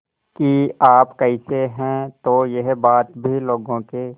कि आप कैसे हैं तो यह बात भी लोगों के